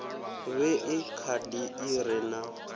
vhee khadi i re na